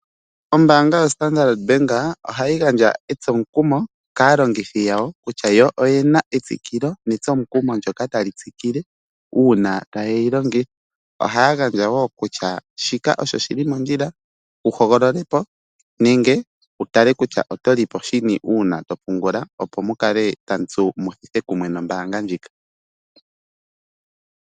Ombanga yo Standardbank ohayi gandja etsomukumo kaalongithi yawo kutya yo oyena etsikilo netsomukumo ndyoka tali tsikile una taye yi longitha. Oha ya gandja wo kutya shika osho shili mondjila wu hogololepo nenge wu tale kutya oto li po shini una to pungula opo mukale tamu tsu muthithe kumwe nombanga ndjoka.